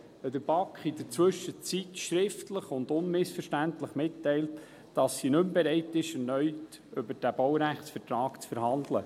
Die Gemeinde hat der BaK nämlich in der Zwischenzeit schriftlich und unmissverständlich mitgeteilt, dass sie nicht mehr bereit ist, erneut über den Baurechtsvertrag zu verhandeln.